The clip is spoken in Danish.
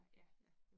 Ja